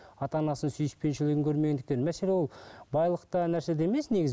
ата анасының сүйіспеншілігін көрмегендіктен мәселе ол байлықта нәрседе емес негізі